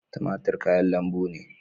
Tumatir kayan lambu ne.